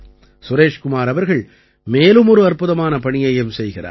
சுரேஷ் குமார் அவர்கள் மேலும் ஒரு அற்புதமான பணியையும் செய்கிறார்